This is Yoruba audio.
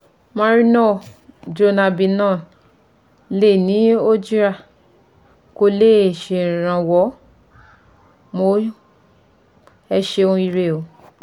Marino/Dronabinol lè ní, kò le ṣèrànwọ́ mọ́ ẹ ṣeun ire o